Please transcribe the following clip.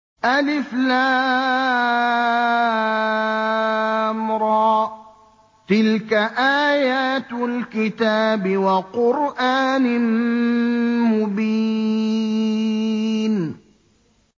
الر ۚ تِلْكَ آيَاتُ الْكِتَابِ وَقُرْآنٍ مُّبِينٍ